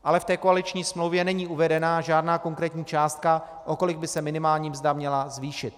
Ale v koaliční smlouvě není uvedena žádná konkrétní částka, o kolik by se minimální mzda měla zvýšit.